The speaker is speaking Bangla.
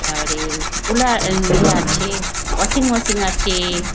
আ ইয়ে কুলার আ ইয়ে আছে ওয়াশিং মেশিন আছে।